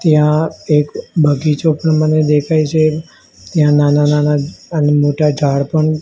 ત્યાં એક બગીચો પણ મને દેખાય છે ત્યાં નાના નાના અને મોટા જાળ પણ--